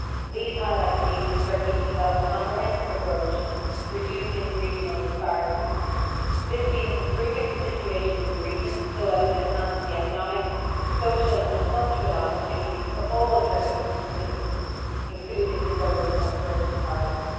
These highlight the need for Turkey to develop a comprehensive approach to reducing regional disparities. This means improving the situation in the region so as to enhance the economic, social and cultural opportunities for all Turkish citizens including those of Kurdish origin.